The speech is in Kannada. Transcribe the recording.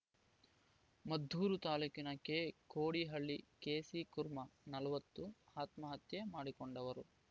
ಮದ್ದೂರು ತಾಲೂಕಿನ ಕೆಕೋಡಿಹಳ್ಳಿಯ ಕೆಸಿ ಕುರ್ಮ ನಲವತ್ತು ಆತ್ಮಹತ್ಯೆ ಮಾಡಿಕೊಂಡವರು